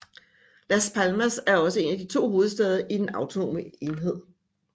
Las Palmas er også en af de to hovedsteder i den autonome enhed